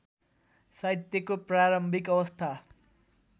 साहित्यको प्रारम्भिक अवस्था